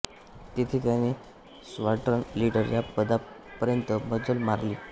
तेथे त्याने squadron leader या पदापर्यंत मजल मारली